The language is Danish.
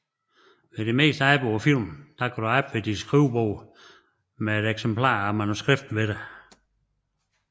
Ved det meste arbejde på film kan du arbejde ved dit skrivebord med et eksemplar af manuskriptet hos dig